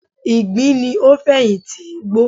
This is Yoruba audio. Ìgbín ni o fẹ̀yin ti igbó